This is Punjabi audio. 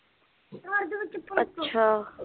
ਅੱਛਾ